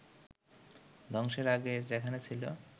ধ্বংসের আগে যেখানে ছিল